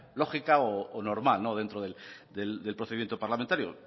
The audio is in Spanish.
lógica o normal dentro del procedimiento parlamentario